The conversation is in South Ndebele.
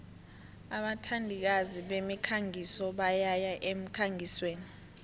abathandikazi bemikhangiso bayaya emkhangisweni